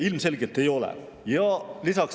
Ilmselgelt ei ole.